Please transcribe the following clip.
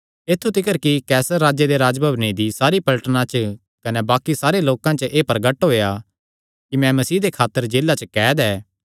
ऐत्थु तिकर कि कैसर राजे दे राज्जभवने दी सारिया पलटना च कने बाक्कि सारे लोकां च एह़ प्रगट होई गेआ ऐ कि मैं मसीह दी खातर जेला च कैद ऐ